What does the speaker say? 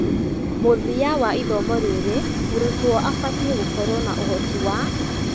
Mũthia wa ithomo rĩrĩ, mũrutwo abatie gũkorwo na ũhoti wa